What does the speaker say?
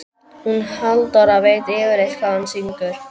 Hún Halldóra veit yfirleitt hvað hún syngur.